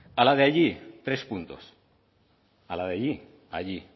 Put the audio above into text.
a la de allí tres puntos a la de allí allí